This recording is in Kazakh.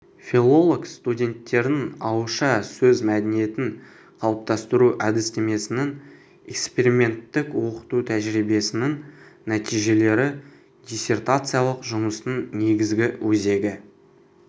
филолог-студенттердің ауызша сөз мәдениетін қалыптастыру әдістемесінің эксперименттік оқыту тәжірибесінің нәтижелері диссертациялық жұмыстың негізгі өзегі